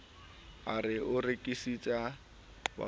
a re o rekisetsa bathofeela